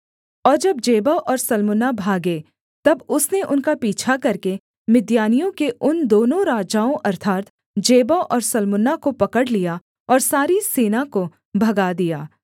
और जब जेबह और सल्मुन्ना भागे तब उसने उनका पीछा करके मिद्यानियों के उन दोनों राजाओं अर्थात् जेबह और सल्मुन्ना को पकड़ लिया और सारी सेना को भगा दिया